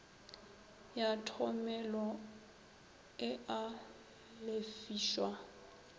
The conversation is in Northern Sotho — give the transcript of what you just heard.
ya thomelo e a lefišwa